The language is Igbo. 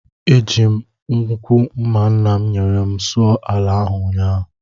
Eji m nnukwu mma nna m nyere m sụọ ala ahụ ụnyahụ